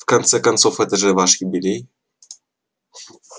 в конце концов это же ваш юбилей